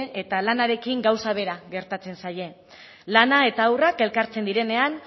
eta lanarekin gauza bera gertatzen zaie lana eta haurrak elkartzen direnean